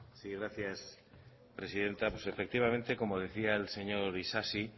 sí gracias presidenta sí pues efectivamente como decía el señor isasi